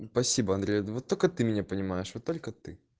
спасибо андрей вот только ты меня понимаешь вот только ты